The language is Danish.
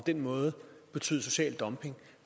den måde betyde social dumping